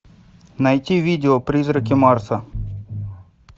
найти видео призраки марса